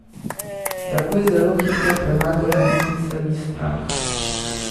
Tako je zelo hitro premagala nesmiselni strah.